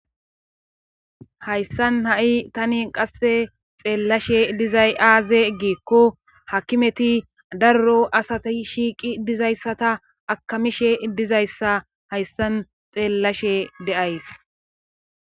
Hayssan ha7i tani qasse xeellashe dizay aaze giikko hakimeti darro asati shiiqi dizayssata akamishe dizayssa hayssan xeellashe deays